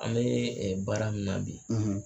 An bɛ baara min na bi.